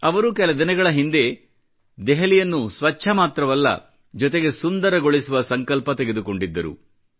ಅವರು ಕೆಲದಿನಗಳ ಹಿಂದೆ ದೆಹಲಿಯನ್ನು ಸ್ವಚ್ಚ ಮಾತ್ರವಲ್ಲ ಜೊತೆಗೆ ಸುಂದರಗೊಳಿಸುವ ಸಂಕಲ್ಪ ತೆಗೆದುಕೊಂಡಿದ್ದರು